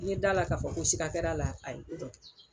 N ye d'a la k'a fɔ ko sika kɛr'a la a ye ko dɔ kɛ.